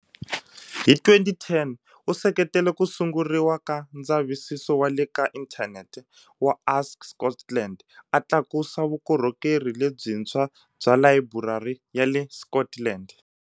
Hi 2010, u seketele ku sunguriwa ka ndzavisiso wa le ka inthanete wa Ask Scotland, a tlakusa vukorhokeri lebyintshwa bya layiburari ya le Scotland.